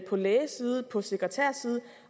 på lægesiden på sekretærsiden